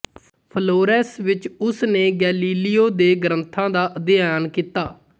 Florence ਵਿੱਚ ਉਸਨੇ Galileo ਦੇ ਗ੍ਰੰਥਾਂ ਦਾ ਅਧਿਐਨ ਕੀਤਾ